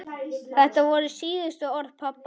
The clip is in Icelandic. Þetta voru síðustu orð pabba.